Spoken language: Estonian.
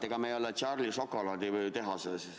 Ega me ei ole nagu Charlie šokolaaditehases.